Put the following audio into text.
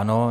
Ano.